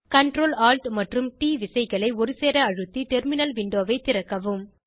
Ctrl Alt மற்றும் ட் விசைகளை ஒருசேர அழுத்தி டெர்மினல் விண்டோவை திறக்கவும்